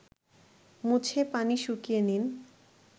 মুছে পানি শুকিয়ে নিন